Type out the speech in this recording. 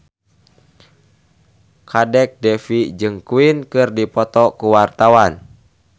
Kadek Devi jeung Queen keur dipoto ku wartawan